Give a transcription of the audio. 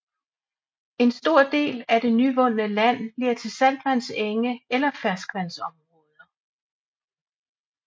En stor del af det nyvundende land bliver til saltvandsenge eller ferskvandsområder